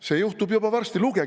See juhtub juba varsti!